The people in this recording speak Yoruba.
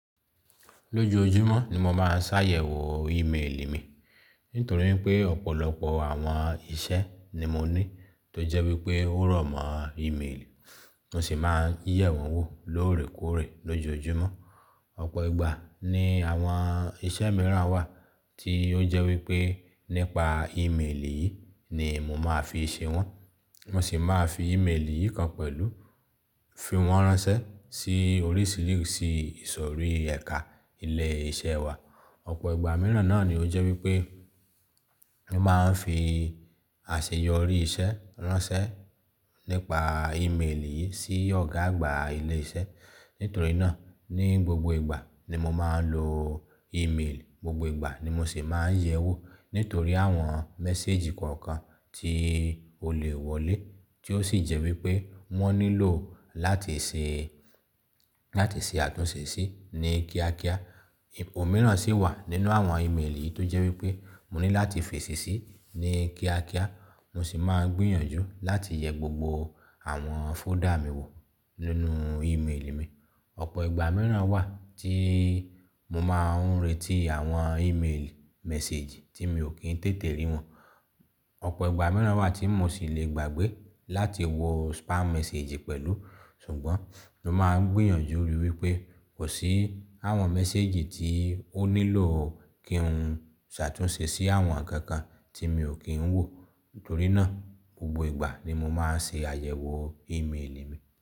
Lójojúmọ́ ni mo máa ń ṣàyẹ̀wò ímélì mi. Nítorí pé ọ̀pọ̀lọpọ̀ àwọn iṣẹ́ ni mo ní tó jẹ́ wípé ó rọ̀mọ́ ímélì. Mo sì máa ń yẹ̀ wọ́n wò lóòrèkóòrè lójoojúmọ́. Ọ̀pọ̀ ìgbà ni àwọn iṣẹ́ mìíràn wà tí ó jẹ́ wípé nípa ímélì yìí ni mo máa fi ṣe wọ́n. Mo sì máa fi ímélì yìí kan pẹ̀lú fi wọ́n ránṣẹ́ sí orí sílìsì ìsọ̀rí ẹ̀ka ilé iṣẹ́ wa. Ọ̀pọ̀ ìgbà mìíràn náà ni ó jẹ́ wípé mo máa ń fi àṣeyọrí iṣẹ́ ránṣẹ́ nípa ímélì yìí sí ọ̀gá àgbà ilé iṣẹ́. Nítorí náà ní gbogbo ìgbà ni mo máa ń lo ímélì, gbogbo ìgbà ni mo sì máa ń yẹ̀ ẹ́ wò. Nítorí àwọn méséjì kọ̀ọ̀kan tí ó lè wọlé tí ó sì jẹ́ wípé wọ́n nílò láti ṣe, láti ṣe àtúnṣe sí ní kíákíá. Òmi mìíràn sì wà nínú àwọn ímélì yìí tó jẹ́ wípé mo ní láti fèsì sí ní kíákíá. Mo sì máa ń gbìyànjú láti yẹ gbogbo àwọn fóldà mi wò nínú ímélì mi. Ọ̀pọ̀ ìgbà mìíràn wà tí mo máa ń retí àwọn ímélì méséjì tí mi ò kí ń tètè rí wọ́n. Ọ̀pọ̀ ìgbà mìíràn wà tí mo sì lè gbàgbé láti wọ spam méséjì pẹ̀lú. Sùgbọ́n mo máa ń gbìyànjú lórí wípé kò sí àwọn méséjì tí ó nílò kí n ṣàtúnṣe sí àwọn nkànkan tí mi ò kí ń wò. Nítorí náà gbogbo ìgbà ni mo máa ń ṣe àyẹ̀wò ímélì mi.